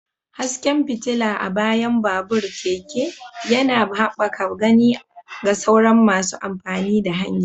Hasken fitila a bayan babur/keke yana haɓaka gani ga sauran masu amfani da hanya.